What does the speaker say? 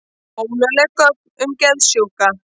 Ólögleg gögn um geðsjúka